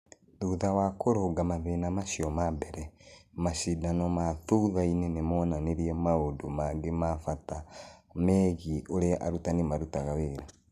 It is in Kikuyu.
Thutha wa kũrũnga mathĩna macio ma mbere, macindano ma thutha-inĩ nĩ monanirie maũndũ mangĩ ma bata megiĩ ũrĩa arutani marutaga wĩra.